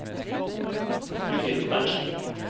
Judith Berntsen